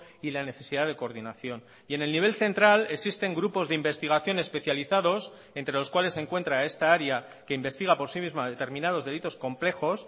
y la necesidad de coordinación y en el nivel central existen grupos de investigación especializados entre los cuales se encuentra esta área que investiga por sí misma determinados delitos complejos